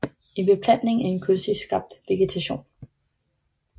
En beplantning er en kunstigt skabt vegetation